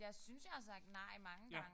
Jeg synes jeg har sagt mange gange